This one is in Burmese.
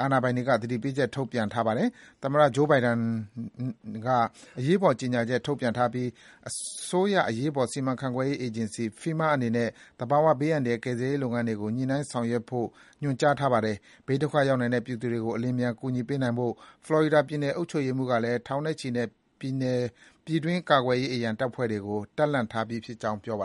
အာဏာပိုင်တွေက သတိပေးချက် ထုတ်ပြန်ထားပါတယ်။ သမ္မတ Joe Biden က အရေးပေါ်ကြေညာချက်ထုတ်ပြန်ထားပြီး အစိုးရအရေးပေါ် စီမံခန့်ခွဲမှု အေဂျင်စီ FEMA အနေနဲ့ သဘာဝ ဘေးအန္တရာယ် ကယ်ဆယ်ရေးလုပ်ငန်းတွေကို ညှိနှိုင်းဆောင်ရွက်ဖို့နဲ့ ပြည်ထောင်စုအစိုးရရံပုံငွေတွေ ပံ့ပိုးပေးဖို့ ခွင့်ပြုထားပါတယ်။ ဘေးဒုက္ခသည်ရောက်နိုင်တဲ့ ပြည်သူတွေကို အလျင်အမြန် ကူညီပေးနိုင်ဖို့ ဖလော်ရီဒါပြည်နယ်အုပ်ချုပ်ရေးမှူးကလည်း ထောင်နဲ့ချီတဲ့ ပြည်တွင်းကာကွယ်ရေး အရံတပ်ဖွဲ့ဝင်တွေကို တပ်လှန့်ထားပြီးဖြစ်ကြောင်း ပြောပါ